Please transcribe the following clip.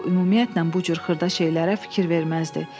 ümumiyyətlə bu cür xırda şeylərə fikir verməzdi.